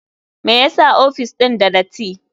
Me yasa ofis ɗin da dati?